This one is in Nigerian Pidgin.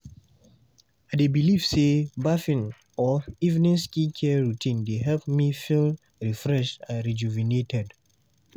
I dey believe say bathing or evening skincare routine dey help me feel refreshed and rejuvenated.